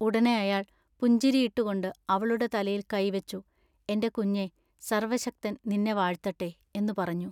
ഉടനെ അയാൾ പുഞ്ചിരിയിട്ടുകൊണ്ട് അവളുടെ തലയിൽ കൈ വെച്ചു എന്റെ കുഞ്ഞെ സർവ്വശക്തൻ നിന്നെ വാഴ്ത്തട്ടെ" എന്നു പറഞ്ഞു.